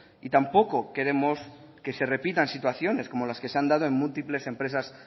y tampoco queremos que se repitan situaciones como las que se han dado en múltiples empresas